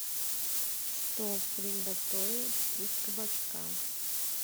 что приготовить из кабачка